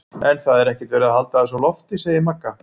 En það er ekkert verið að halda þessu á lofti, segir Magga.